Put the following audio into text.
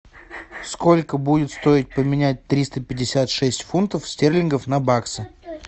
сколько будет стоить поменять триста пятьдесят шесть фунтов стерлингов на баксы